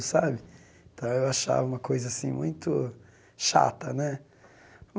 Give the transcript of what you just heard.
Sabe então eu achava uma coisa assim muito chata né.